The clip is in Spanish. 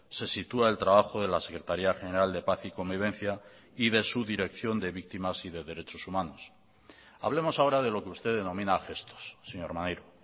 se sitúa el trabajo de la secretaría general de paz y convivencia y de su dirección de víctimas y de derechos humanos hablemos ahora de lo que usted denomina gestos señor maneiro